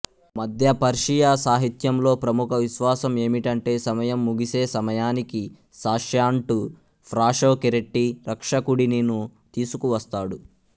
మధ్య పర్షియా సాహిత్యంలో ప్రముఖ విశ్వాసం ఏమిటంటే సమయం ముగిసే సమయానికి సాష్యాంటు ఫ్రాషోకెరెట్టి రక్షకుడినిను తీసుకువస్తాడు